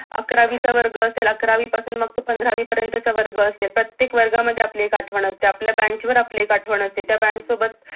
अकरावी चा वर्ग असेल अकरावी पासून मग तो पंधरावी पर्यंतचा वर्ग असेल प्रत्येक वर्गा मध्ये आपली एक आठवण असते आपल्या bench वर आपली एक आठवण असते त्या bench सोबत